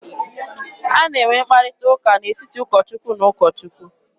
A na-enwe mkparịta ụka n'etiti ụkọ Chukwu na ụkọ Chukwu.